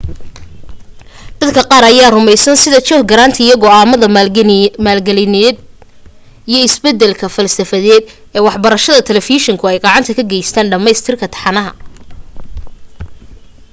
dadka qaar ayaa rumaysan sida john grant in go'aanka maalgelineed iyo isbeddelka falsafadeed ee waxbarashada talafeeshinku ay gacan ka geysteen dhammaynta taxanaha